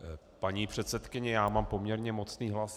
Paní předsedkyně, já mám poměrně mocný hlas.